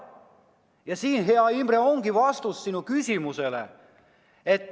Ja siin, hea Imre, ongi vastus sinu küsimusele.